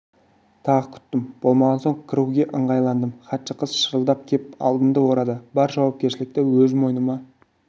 тағы күттім болмаған соң кіруге ыңғайландым хатшы қыз шырылдап кеп алдымды орады бар жауапкершілікті өз мойныма